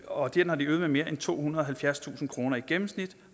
og den har de øget med mere end tohundrede og halvfjerdstusind kroner i gennemsnit